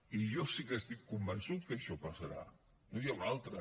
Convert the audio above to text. i jo sí que estic convençut que això passarà no hi ha una altra